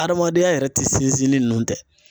Adamadenya yɛrɛ ti sinsin ni nunnu tɛ.